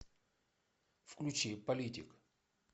включи политик